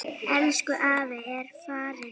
Elsku afi er farinn.